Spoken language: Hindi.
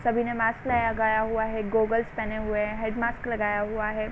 सभी ने माक्स लगाया हुआ हैं। गोगल्स पहने हुए हैं। हेड माक्स लगाया हुआ है।